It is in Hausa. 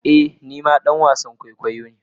Ee ni ma dan wasan kwaikwayo ne.